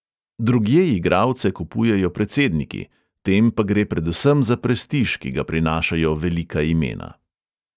Drugje igralce kupujejo predsedniki, tem pa gre predvsem za prestiž, ki ga prinašajo velika imena.